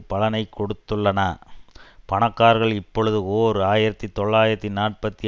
பலனை கொடுத்துள்ளன பணக்காரர்கள் இப்பொழுது ஓர் ஆயிரத்தி தொள்ளாயிரத்தி நாற்பத்தி